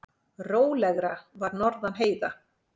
Rólegra var norðan heiða.